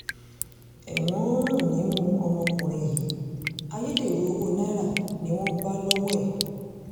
ẹ̀wọ̀n ń rùn nímú ọmọkùnrin yìí ayédèrú owó náírà ni wọ́n bá lọ́wọ́ ẹ̀